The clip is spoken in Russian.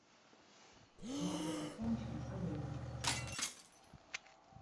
масло подсолнечное олейна